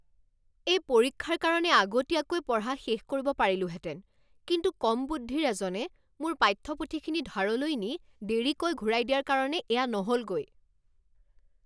মই পৰীক্ষাৰ কাৰণে আগতীয়াকৈ পঢ়া শেষ কৰিব পাৰিলোহেঁতেন কিন্তু কম বুদ্ধিৰ এজনে মোৰ পাঠ্যপুথিখিনি ধাৰলৈ নি দেৰিকৈ ঘূৰাই দিয়াৰ কাৰণে এয়া নহ'লগৈ।